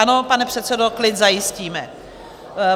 Ano, pane předsedo, klid zajistíme.